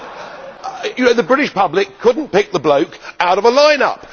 The British public could not pick the bloke out of a line up!